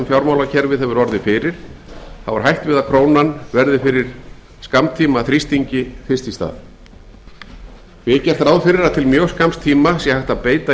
fjármálakerfið hefur orðið fyrir er hætt við að krónan verði fyrir skammtímaþrýstingi fyrst í stað því er gert ráð fyrir að til mjög skamms tíma sé hægt að beita